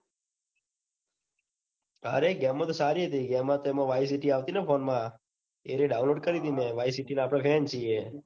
અરે ગેમો તો સારી હતી ગેમોતો એમાં vice city આવતી ને phone માં એરીયે download કરી હતી. મેં વાયસીટી ના આપડે fan છીએ.